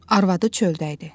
Arvadı çöldə idi.